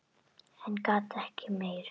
En ég gat ekki meir.